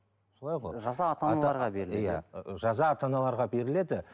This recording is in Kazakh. солай ғой жаза ата аналарға беріледі